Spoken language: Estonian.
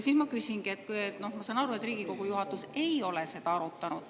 Ma saan aru, et Riigikogu juhatus ei ole seda arutanud.